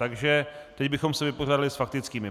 Takže teď bychom se vypořádali s faktickými.